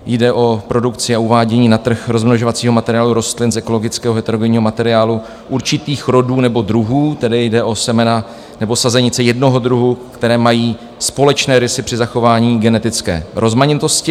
Jde o produkci a uvádění na trh rozmnožovacího materiálu rostlin z ekologického heterogenního materiálu určitých rodů nebo druhů, tedy jde o semena nebo sazenice jednoho druhu, které mají společné rysy při zachování genetické rozmanitosti.